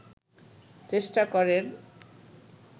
চেষ্টা করেন